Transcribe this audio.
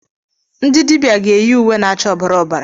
Ndị dibịa ga eyi uwe na-acha ọbara ọbara.